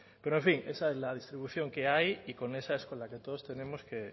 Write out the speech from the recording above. pero en fin esa es la distribución que hay y con esa es con la que todos tenemos